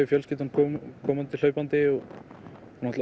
fjölskyldan að koma hlaupandi